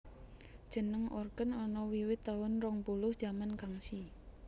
Jeneng Orqen ana wiwit taun rong puluh jaman Kangxi